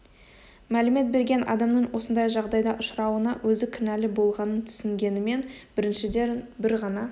мәлімет берген адамның осындай жағдайға ұшырауына өзі кінәлі болғанын түсінгенімен біріншіден бір ғана